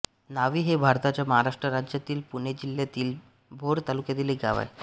न्हावी हे भारताच्या महाराष्ट्र राज्यातील पुणे जिल्ह्यातील भोर तालुक्यातील एक गाव आहे